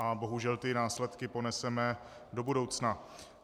A bohužel ty následky poneseme do budoucna.